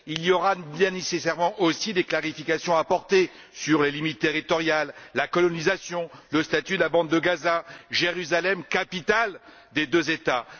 Il y aura nécessairement aussi des clarifications à apporter sur les limites territoriales, la colonisation, le statut de la bande de Gaza, Jérusalem, capitale des deux États.